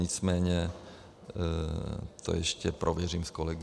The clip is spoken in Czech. Nicméně to ještě prověřím s kolegy.